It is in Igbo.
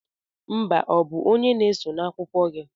Mba ọ bụ onye na-eso' n'akụkọ gị?